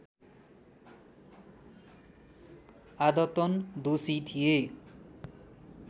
आदतन दोषी थिए